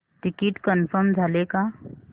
ticket confirm झाले का